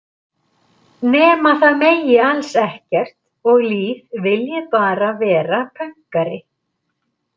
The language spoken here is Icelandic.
Nema það megi alls ekkert og Líf vilji bara vera pönkari.